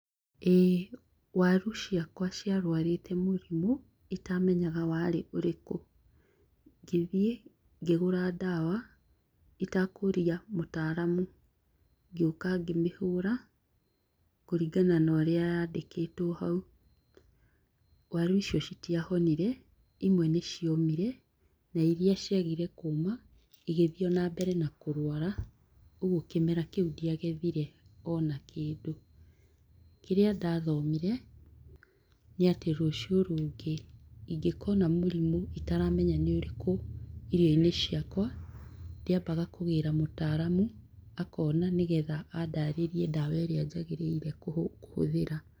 ĩĩ waru ciakwa ciarwarĩte mũrimũ itamenyaga warĩ ũrĩkũ. Ngĩthiĩ, ngĩgũra ndawa itekũũria mũtaramu , ngĩoka ngĩmĩhũra kũringana na ũrĩa yandĩkĩtwo hau . Waru icio citiahonire, imwe nĩciomire na iria ciagire kũma igĩthiĩ na mbere na kũrwara. ũgwo kĩmera kĩu ndiagethire ona kĩndũ. Kĩrĩa ndathomire, nĩatĩ rũciũ rũngĩ ingĩkona mũrimũ itaramenya nĩũrĩkũ irio-inĩ ciakwa ndĩambaga kũgĩra mũtaramu, akona nĩgetha andarĩrie ndawa ĩrĩa njagĩrĩire kũhũthĩra.